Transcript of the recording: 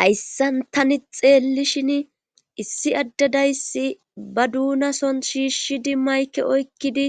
hayssan tani xeellishin issi addadayssi ba duunason shiishi dimmayke oykkidi